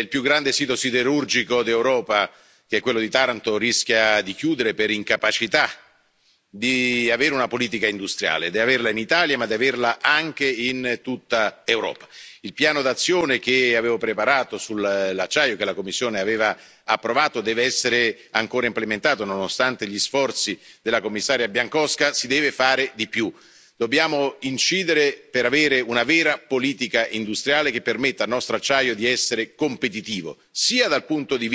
il più grande sito siderurgico d'Europa, che è quello di Taranto, rischia di chiudere per incapacità di avere una politica industriale, di averla in Italia, ma di averla anche in tutta Europa. Il piano d'azione che avevo preparato sull'acciaio e che la Commissione aveva approvato deve essere ancora implementato. Nonostante gli sforzi della Commissaria Bieńkowska, si deve fare di più. Dobbiamo incidere per avere una vera politica industriale che permetta al nostro acciaio di essere competitivo sia dal punto di vista